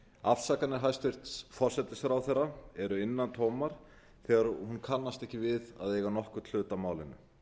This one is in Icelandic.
afsakanir hæstvirtur forsætisráðherra eru innantómar þegar hún kannast ekki við að eiga nokkurn hlut að málinu